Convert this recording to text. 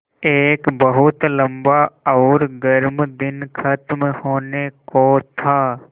एक बहुत लम्बा और गर्म दिन ख़त्म होने को था